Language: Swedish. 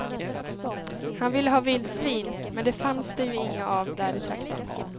Han ville ha vildsvin, men det fanns det ju inga av där i trakten.